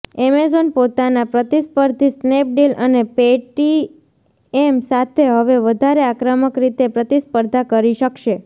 Amazon પોતાના પ્રતિસ્પર્ધી Snapdeal અને પેટીએમ સાથે હવે વધારે આક્રમક રીતે પ્રતિસ્પર્ધા કરી શકશે